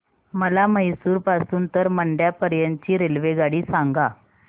मला म्हैसूर पासून तर मंड्या पर्यंत ची रेल्वेगाडी सांगा